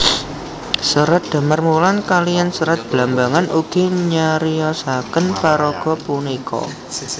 Serat Damarwulan kaliyan Serat Blambangan ugi nyariosaken paraga punika